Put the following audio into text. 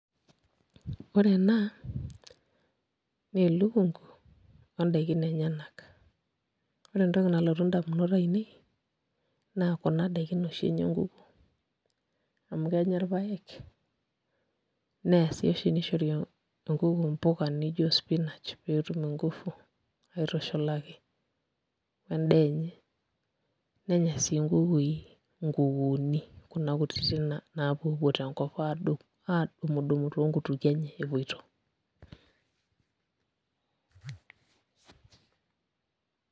Ore ena naa elukungu ondaikin enyenak ore entoki nalotu indamunot ainei naa kuna daikin oshi naishori amu kenya irpaek nishori enkuku mpuka nijo spinach pee etum nguvu aitushulaki o endaa enye nenya sii nkukui nkukuuni kuna kutitik naapuopuo tenkop aadumudumu toonkutukie enye epoito.